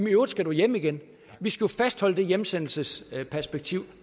i øvrigt skal du hjem igen vi skal jo fastholde det hjemsendelsesperspektiv